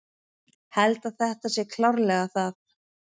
Held að þetta sé klárlega það.